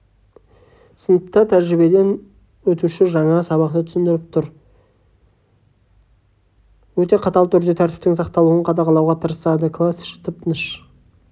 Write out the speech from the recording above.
сыныпта тәжірибеден өтуші жаңа сабақты түсіндіріп тұр өте қатал түрде тәртіптің сақталуын қадағалауға тырысады класс іші тып-тыныш